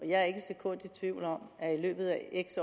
jeg er ikke et sekund i tvivl om at i løbet af x